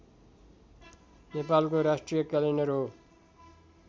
नेपालको राष्ट्रिय क्यालेण्डर हो